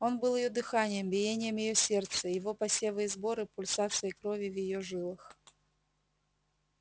он был её дыханием биением её сердца его посевы и сборы пульсацией крови в её жилах